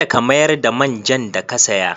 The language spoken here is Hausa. Kada ka mayar da man jan da ka saya.